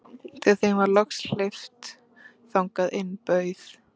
Þegar þeim var loks hleypt þangað inn bauð